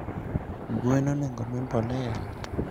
Gwen onego omii mbolea?